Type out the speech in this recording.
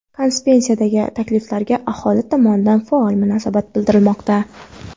Konsepsiyadagi takliflarga aholi tomonidan faol munosabat bildirilmoqda.